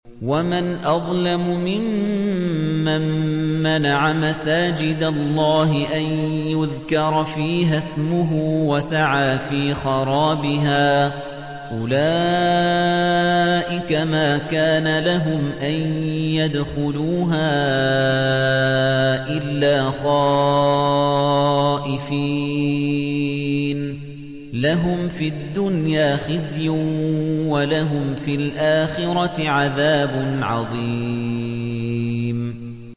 وَمَنْ أَظْلَمُ مِمَّن مَّنَعَ مَسَاجِدَ اللَّهِ أَن يُذْكَرَ فِيهَا اسْمُهُ وَسَعَىٰ فِي خَرَابِهَا ۚ أُولَٰئِكَ مَا كَانَ لَهُمْ أَن يَدْخُلُوهَا إِلَّا خَائِفِينَ ۚ لَهُمْ فِي الدُّنْيَا خِزْيٌ وَلَهُمْ فِي الْآخِرَةِ عَذَابٌ عَظِيمٌ